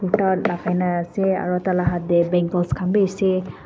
lakai na ase aro tai la hat tae bangels khan bi ase--